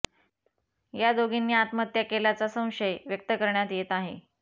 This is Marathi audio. या दोघींनी आत्महत्या केल्याचा संशय व्यक्त करण्यात येत आहे